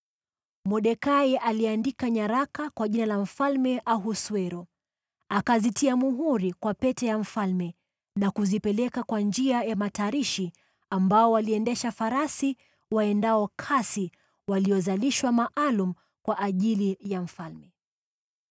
Mordekai aliandika nyaraka kwa jina la Mfalme Ahasuero, akazitia muhuri kwa pete ya mfalme na kuzipeleka kwa njia ya matarishi, ambao waliendesha farasi waendao kasi waliozalishwa maalum kwa ajili ya mfalme.